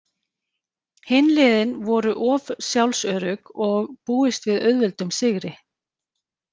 Hin liðin voru of sjálfsörugg og búist við auðveldum sigri.